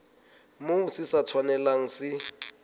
moo se sa tshwanelang se